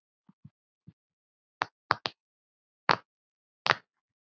Það birtir alltaf til.